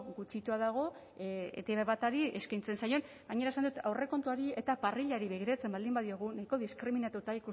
gutxitua dago etb bati eskaintzen zaion gainera esan dut aurrekontuari eta parrillari begiratzen baldin badiegu nahiko diskriminatuta